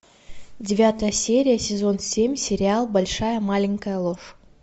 девятая серия сезон семь сериал большая маленькая ложь